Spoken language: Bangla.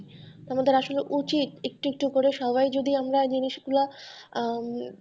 আমাদের আসলে উচিত একটু একটু করে সবাই যদি আমরা জিনিসগুলো, আহ